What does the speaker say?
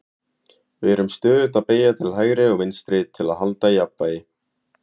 við erum stöðugt að beygja til hægri og vinstri til að halda jafnvægi